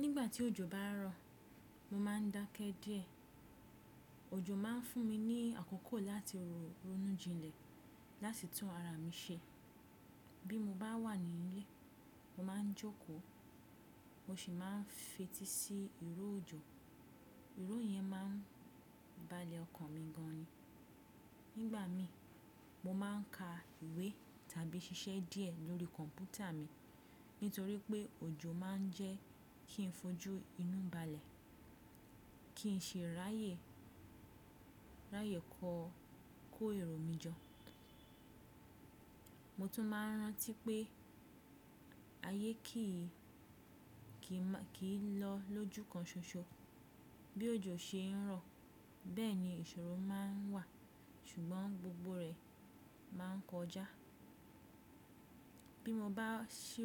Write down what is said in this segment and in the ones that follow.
Nígbà tí òjò bá rọ̀, mo má a dákẹ́ díẹ̀. Òjò má a fún mi ní àkókò láti ronú jinlẹ̀, láti tún ara mi ṣe. Bí mo bá wà nílé, mo má a jókòó, mo sì máa n fetí sí ìró òjò. Ìró yẹn máa n balẹ̀ ọkàn mi gan ni. Nígbà mi, mo máa n ka ìwé tàbí ṣiṣẹ́ díẹ̀ lórí kọ̀mpútà mi nítorí pé òjò máa n jẹ́ kí n fojú inú balẹ̀, kí n ṣe ráyè kọ kó èrò mi jọ. Mo tún máa n rántí pé ayé kì í lọ lójúkan ṣoṣo. Bí òjò ṣe ń rọ̀, bẹ́ẹ̀ ni ìṣòro má ń wà, ṣùgbọ́n gbogbo rẹ̀ má a n kọjá. Bí mo bá sì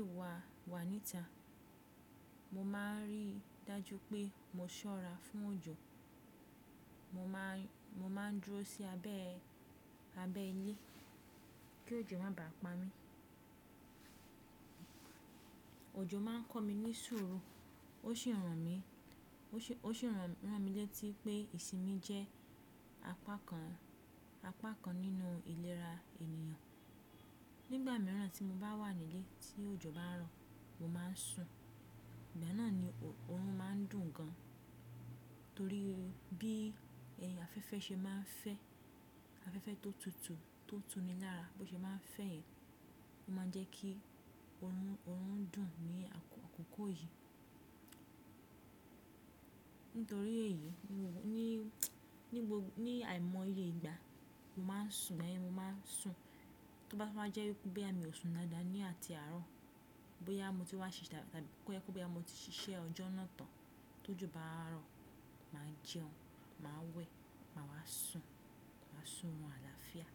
wà níta, mo máa n rí dájú pé mo ṣọ́ra fún òjò, mo máa n dúró sí abẹ́ ilé kí òjò má bá pa mí. Òjò máa n kọ́ mi ní sùúrù, ó sì rán mi létí pé ìsinmi jẹ́ apá kan nínú ìlera ènìyàn. Nígbà mìíràn tí mo bá wà nílé tí òjò bá n rọ̀, mo máa n sun. Ìgbà náà ni oorun máa n dùn gan, torí bí afẹ́fẹ́ ṣe máa n fẹ́, afẹ́fẹ́ tó tutù tó túni lára bó ṣe máa n fẹ́ yẹn, ó máa n jẹ́ kí oorun dùn ní àkókò yìí. Nítorí èyí, ní àìmọye ìgbà mo máa n sun, tó bá tun wá jẹ́ wípé boya mi ò sun dáa da ní àti àárọ̀, bóyá mo ti wá ṣiṣẹ́ ọjọ́ náà tán, tó jó bá rọ̀, màa jẹun, m a wẹ̀, màa wá sun, mà a sun orun àlàáfíà.